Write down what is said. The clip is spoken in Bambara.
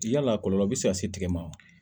Yala kɔlɔlɔ be se ka se tigɛ ma wa